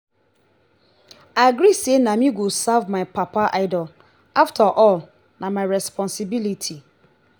i agree say na me go serve my papa idol after all na my responsibility.